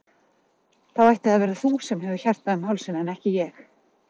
Þá ætti það að vera þú sem hefur hjartað um hálsinn en ekki ég.